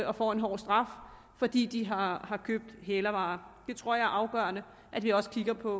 og får en hård straf fordi de har har købt hælervarer jeg tror at det er afgørende at vi også kigger på